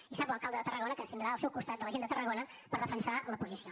i sap l’alcalde de tarragona que ens tindrà al seu costat de la gent de tarragona per defensar la posició